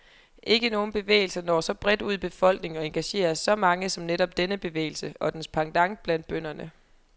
Ikke nogen bevægelser når så bredt ud i befolkningen og engagerer så mange som netop denne bevægelse, og dens pendant blandt bønderne.